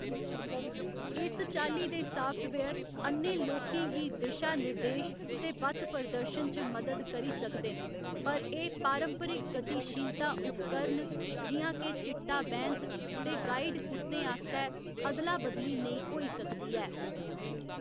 इस चाल्ली दे साफ्टवेयर अ'न्नें लोकें गी दिशानिर्देश ते बत्त प्रदर्शन च मदद करी सकदे न, पर एह्‌‌ पारंपरिक गतिशीलता उपकरण जि'यां के चिट्टा बैंत ते गाइड कुत्तें आस्तै अदला बदली नेईं होई सकदी ऐ।